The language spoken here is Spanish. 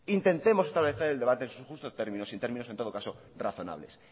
intentemos establecer el debate en sus justos términos y en términos en todo caso razonables